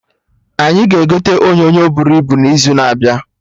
Anyị ga-egote onyonyo bụrụ ibu n'izu na-abịa